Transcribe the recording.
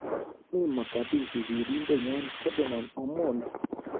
Mii Mogadishu sirindetnyo Ferdinand Omondi